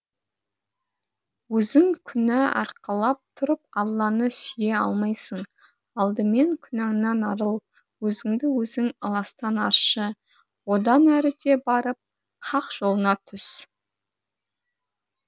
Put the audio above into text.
өзің күнә арқалап тұрып алланы сүйе алмайсың алдымен күнәңнен арыл өзіңді өзің ыластан аршы одан әріде барып хақ жолына түс